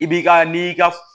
I b'i ka n'i ka